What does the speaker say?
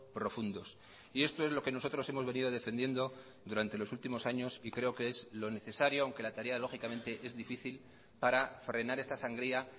profundos y esto es lo que nosotros hemos venido defendiendo durante los últimos años y creo que es lo necesario aunque la tarea lógicamente es difícil para frenar esta sangría